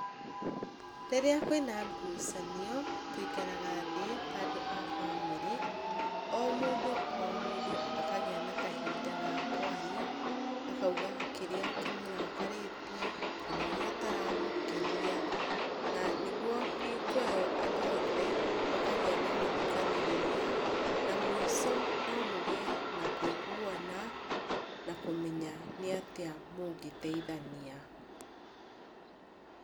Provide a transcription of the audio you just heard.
Rĩrĩa kwĩna ngucanio tũikaraga thĩ ta andũ a bamĩrĩ, o mũndũ o mũndũ akagĩa na kahinda ga kwaria, akauga kĩrĩa kĩmũrakarĩte, kana ũrĩa ũtaramũkenia, na nĩguo hingo ĩyo andũ othe makagĩa na gũthikanĩrĩria na mũico nomũgĩe na kũiguana na kũmenya nĩ atĩa mũngĩteithania.